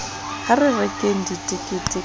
ha re rekeng ditekete ka